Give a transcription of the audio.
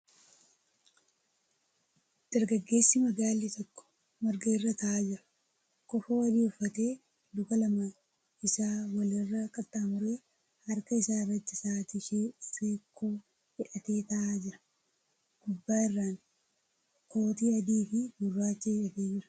Dargaggeessi magaalli tokko marga irra taa'aa jira. Kofoo adii uffatee luka lamaan isaa wal irra qaxxaamuree harka isaa irratti sa'aatii seekkoo hidhatee taa'aa jia. Gubbaa irraan kootii adii fi gurraacha hidhatee jira.